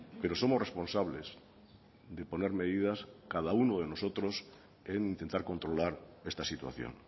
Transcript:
pero somos responsables de poner medidas cada uno de nosotros en intentar controlar esta situación